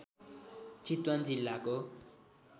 चितवन जिल्लाको